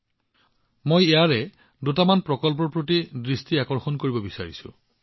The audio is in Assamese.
যদিও এই সকলোবোৰ প্ৰকল্প এটা আনটোতকৈ ভাল আছিল মই কিছুমান প্ৰকল্পৰ প্ৰতি আপোনালোকৰ দৃষ্টি আকৰ্ষণ কৰিব বিচাৰো